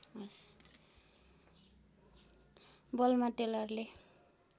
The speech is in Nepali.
बलमा टेलरले